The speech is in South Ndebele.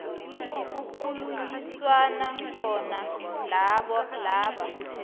kukhulunyiswana khona noba